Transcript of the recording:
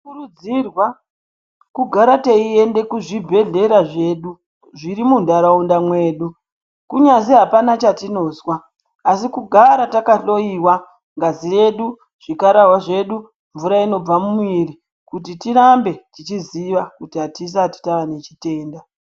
Tinokurudzirwa kugara teienda kuzvibhedhlera zvedu zviri mundaraunda mwedu kunyazi hapana chatinozwa asi kugara takahloiwa ngazi yedu zvikararwa zvedu mvura inobva mumwiri kuti tirambe tichiziva kuti atisati tane chitenda.